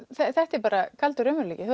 þetta er bara kaldur raunveruleikinn